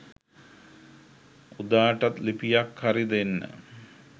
උදාටත් ලිපියක් හරි දෙන්න